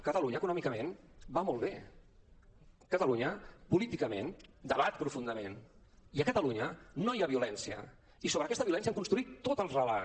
catalunya econòmicament va molt bé catalunya políticament debat profundament i a catalunya no hi ha violència i sobre aquesta violència han construït tot el relat